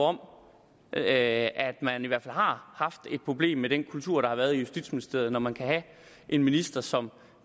om at man i hvert fald har haft et problem med den kultur der har været i justitsministeriet når man kan have en minister som